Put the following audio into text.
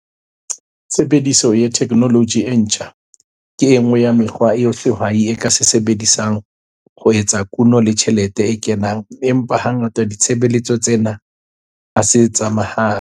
Tshebediso ya theknoloji e ntjha ke e nngwe ya mekgwa eo sehwai se ka e sebedisang ho eketsa kuno le tjhelete e kenang empa hangata ditshebeletso tsena ha se tsa mahala.